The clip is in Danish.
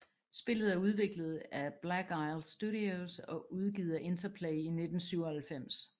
Spillet er udviklet af Black Isle Studios og udgivet af Interplay i 1997